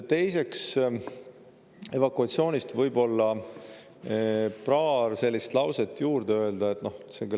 Teiseks, evakuatsiooni kohta tuleb võib-olla paar lauset juurde öelda.